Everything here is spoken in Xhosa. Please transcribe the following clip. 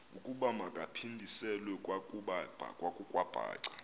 ukuba makaphindiselwe kwakwabhaca